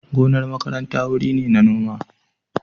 Gonar makaranta wuri ne na noma.